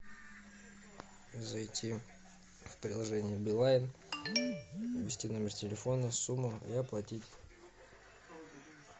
зайти в приложение билайн ввести номер телефона сумму и оплатить